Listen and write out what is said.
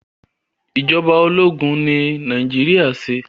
ìjọba ológun ni Nàìjíríà ṣe.